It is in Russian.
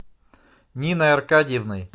ниной аркадьевной